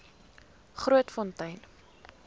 grootfontein